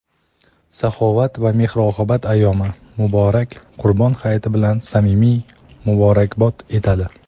saxovat va mehr-oqibat ayyomi – muborak Qurbon hayiti bilan samimiy muborakbod etadi.